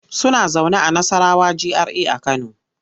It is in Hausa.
Suna zaune a Nassarawa GRA a Kano.